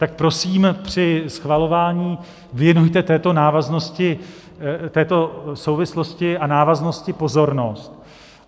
Tak prosím, při schvalování věnujte této souvislosti a návaznosti pozornost.